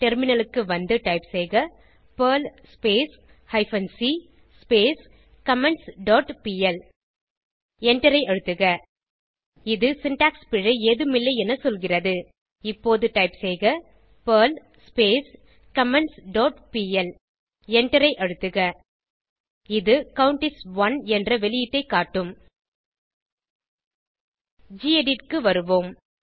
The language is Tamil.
டெர்மினலுக்கு வந்து டைப் செய்க Perl hyphen c comments dot pl எண்டரை அழுத்துக இது சின்டாக்ஸ் பிழை ஏதும் இல்லை என சொல்கிறது இப்போது டைப் செய்க பெர்ல் கமெண்ட்ஸ் டாட் பிஎல் எண்டரை அழுத்துக இது கவுண்ட் இஸ் 1 என்ற வெளியீட்டை காட்டும் கெடிட் க்கு வருவோம்